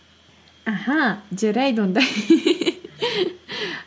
аха жарайды онда